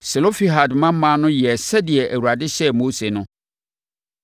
Selofehad mmammaa no yɛɛ sɛdeɛ Awurade hyɛɛ Mose no.